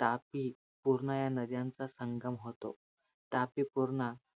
तापी, पूर्णा या नद्यांचा संगम होतो. तापी पूर्णा